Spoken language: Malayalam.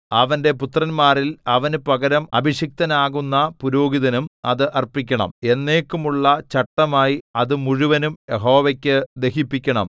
അവന്റെ പുത്രന്മാരിൽ അവനു പകരം അഭിഷിക്തനാകുന്ന പുരോഹിതനും അത് അർപ്പിക്കണം എന്നേക്കുമുള്ള ചട്ടമായി അത് മുഴുവനും യഹോവയ്ക്കു ദഹിപ്പിക്കണം